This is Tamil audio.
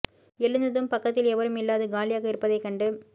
எழுந்ததும் பக்கத்தில் எவரும் இல்லாது காலியாக இருப்பதைக் கண்டு